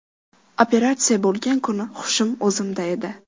Operatsiya bo‘lgan kuni hushim o‘zimda edi.